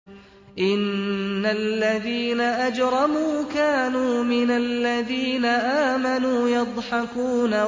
إِنَّ الَّذِينَ أَجْرَمُوا كَانُوا مِنَ الَّذِينَ آمَنُوا يَضْحَكُونَ